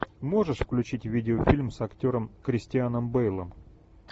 можешь включить видеофильм с актером кристианом бейлом